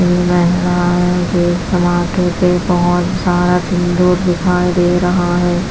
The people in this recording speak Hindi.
ये मेहीलाये के समाथे पे बहुत सारा सिंदूर दिखाई दे रहा है।